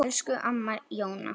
Elsku amma Jóna.